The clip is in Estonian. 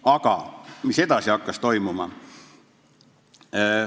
Aga mis edasi toimus?